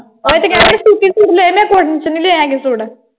ਓਹੀ ਤੇ ਕਹਿ ਰਹੀ ਆ ਸੁੱਤੀ ਸੁੱਟ ਲਏ ਮੈਂ cotton ਚ ਨਹੀਂ ਲਏ ਹੈਗੇ ਸੁੱਟ।